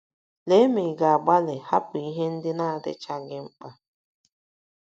Lee ma ị̀ ga - agbalị hapụ ihe ndị na - adịchaghị mkpa.